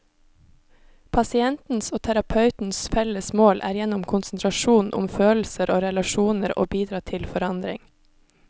Pasientens og terapeutens felles mål er gjennom konsentrasjon om følelser og relasjoner å bidra til forandring.